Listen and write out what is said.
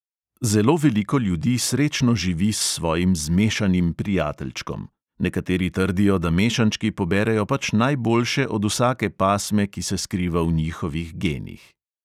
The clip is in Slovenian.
Zelo veliko ljudi srečno živi s svojim "zmešanim" prijateljčkom; nekateri trdijo, da mešančki poberejo pač najboljše od vsake pasme, ki se skriva v njihovih genih.